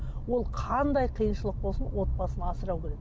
ол қандай қиыншылық болсын отбасын асырау керек